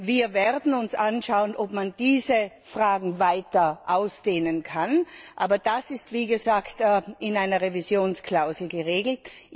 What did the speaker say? Wir werden uns anschauen, ob man diese Fragen weiter ausdehnen kann, aber das ist wie gesagt in einer Revisionsklausel geregelt.